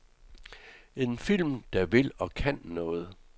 En film, der vil og kan noget.